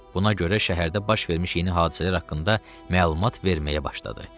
Buna görə şəhərdə baş vermiş yeni hadisələr haqqında məlumat verməyə başladı.